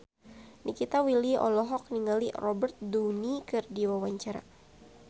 Nikita Willy olohok ningali Robert Downey keur diwawancara